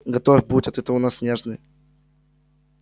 готов будь а то ты у нас нежный